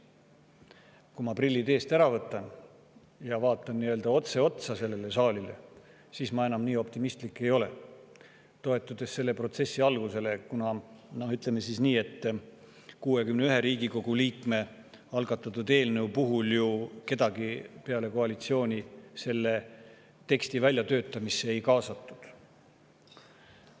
Kui ma nüüd prillid eest ära võtan ja vaatan otse otsa sellele saalile, siis ma enam nii optimistlik ei ole, toetudes selle protsessi algusele, kuna, ütleme siis nii, 61 Riigikogu liikme algatatud eelnõu puhul kedagi peale koalitsiooni selle teksti väljatöötamisse ju ei kaasatud.